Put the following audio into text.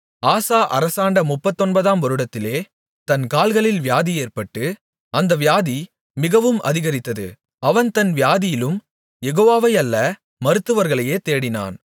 ஆசா அரசாண்ட முப்பத்தொன்பதாம் வருடத்திலே தன் கால்களில் வியாதி ஏற்பட்டு அந்த வியாதி மிகவும் அதிகரித்தது அவன் தன் வியாதியிலும் யெகோவாவை அல்ல மருத்துவர்களையே தேடினான்